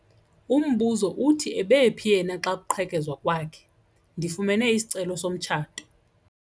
Umbuzo uthi ebephi yena xa kuqhekezwa kwakhe? Ndifumene isicelo somtshato.